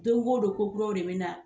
Don o don ko kuraw de bɛ na.